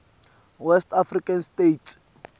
west african states